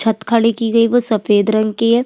छत खड़ी की गई वो सफ़ेद रंग की है।